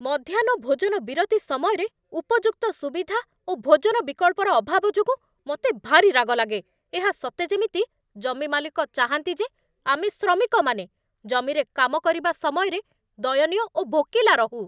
ମଧ୍ୟାହ୍ନ ଭୋଜନ ବିରତି ସମୟରେ ଉପଯୁକ୍ତ ସୁବିଧା ଓ ଭୋଜନ ବିକଳ୍ପର ଅଭାବ ଯୋଗୁଁ ମୋତେ ଭାରି ରାଗ ଲାଗେ ଏହା ସତେ ଯେମିତି ଜମି ମାଲିକ ଚାହାଁନ୍ତି ଯେ ଆମେ ଶ୍ରମିକମାନେ ଜମିରେ କାମ କରିବା ସମୟରେ ଦୟନୀୟ ଓ ଭୋକିଲା ରହୁ।